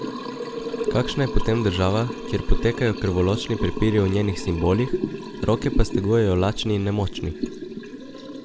Kakšna je potem država, kjer potekajo krvoločni prepiri o njenih simbolih, roke pa stegujejo lačni in nemočni?